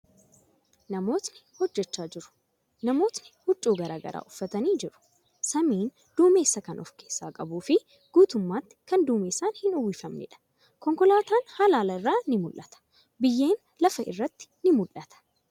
Namootni hojjachaa jiru. Namootni huccuu garagaraa uffatanii jiru. Samiin duumessa kan of keessaa qabuu fi guutumatti kan duumessaan hin uwwifamneedha. Konkolaatan halaala irraa ni mul'ata. Biyyeen lafa irratti ni mul'ata.